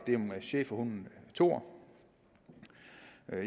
schæferhunden thor